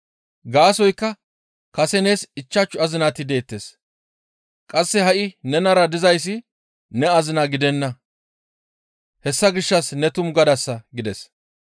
Gaasoykka kase nees ichchashu azinati deettes; qasse ha7i nenara dizayssi ne azina gidenna; hessa gishshas ne tumu gadasa» gides.